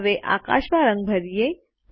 હવે આકાશમાં રંગ ભરીયે